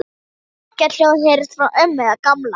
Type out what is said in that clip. Ekkert hljóð heyrðist frá ömmu eða Gamla.